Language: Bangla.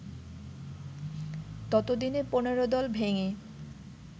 ততদিনে ১৫ দল ভেঙে